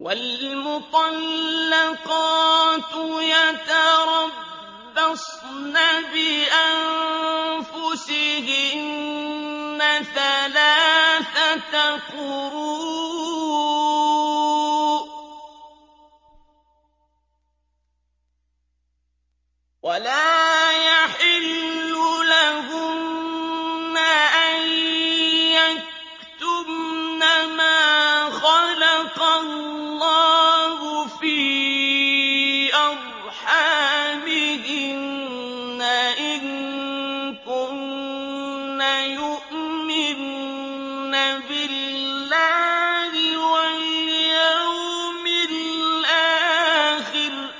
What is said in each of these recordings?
وَالْمُطَلَّقَاتُ يَتَرَبَّصْنَ بِأَنفُسِهِنَّ ثَلَاثَةَ قُرُوءٍ ۚ وَلَا يَحِلُّ لَهُنَّ أَن يَكْتُمْنَ مَا خَلَقَ اللَّهُ فِي أَرْحَامِهِنَّ إِن كُنَّ يُؤْمِنَّ بِاللَّهِ وَالْيَوْمِ الْآخِرِ ۚ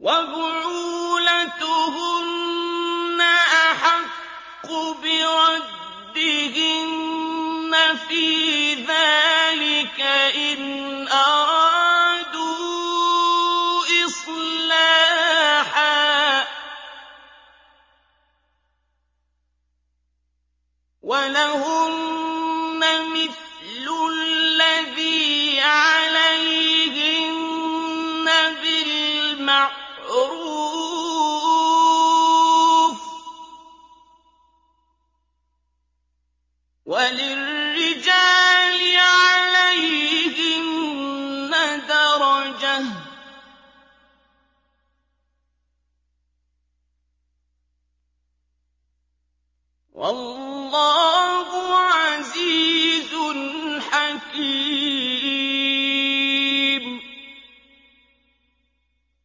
وَبُعُولَتُهُنَّ أَحَقُّ بِرَدِّهِنَّ فِي ذَٰلِكَ إِنْ أَرَادُوا إِصْلَاحًا ۚ وَلَهُنَّ مِثْلُ الَّذِي عَلَيْهِنَّ بِالْمَعْرُوفِ ۚ وَلِلرِّجَالِ عَلَيْهِنَّ دَرَجَةٌ ۗ وَاللَّهُ عَزِيزٌ حَكِيمٌ